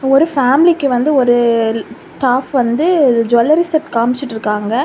ஒரு ஃபேமிலிக்கு வந்து ஒரு ஸ்டாப் வந்து ஜூவல்லரி செட் காமிச்சிட்டுருக்காங்க.